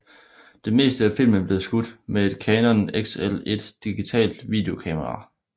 Det meste af filmen blev skudt med et Canon XL1 digitalt videokamera